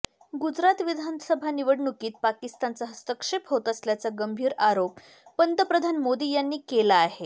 गुजरात विधानसभा निवडणुकीत पाकिस्तानचा हस्तक्षेप होत असल्याचा गंभीर आरोप पंतप्रधान मोदी यांनी केला आहे